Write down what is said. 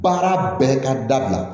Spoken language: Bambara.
Baara bɛɛ ka dabila